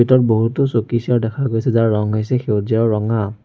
ভিতৰত বহুতো চকী চেয়াৰ দেখা গৈছে যাৰ ৰঙ হৈছে সেউজীয়া আৰু ৰঙা।